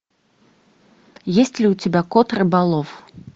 есть ли у тебя кот рыболов